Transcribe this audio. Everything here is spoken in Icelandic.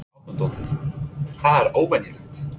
Helga Arnardóttir: Það er óvenjulegt?